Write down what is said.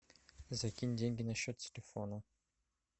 закинь деньги на счет телефона